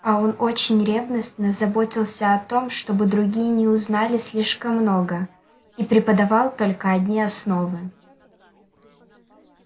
а он очень ревностно заботился о том чтобы другие не узнали слишком много и преподавал только одни основы